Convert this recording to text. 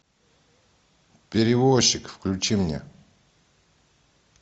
перевозчик включи мне